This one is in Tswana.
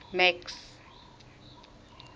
max